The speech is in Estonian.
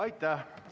Aitäh!